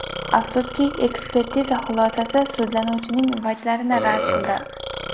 Afsuski, ekspertiza xulosasi sudlanuvchining vajlarini rad qildi.